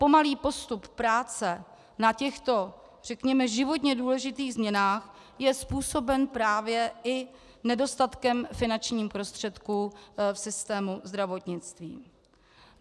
Pomalý postup práce na těchto řekněme životně důležitých změnách je způsoben právě i nedostatkem finančních prostředků v systému zdravotnictví.